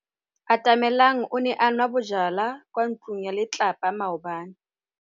Cathy Odowd ke mosadi wa ntlha wa go fenya go pagama ga Mt Everest.